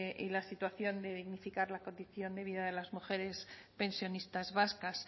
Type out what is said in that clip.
y la situación de la condición de vida de las mujeres pensionistas vascas